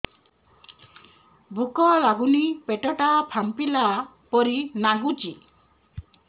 ଭୁକ ଲାଗୁନି ପେଟ ଟା ଫାମ୍ପିଲା ପରି ନାଗୁଚି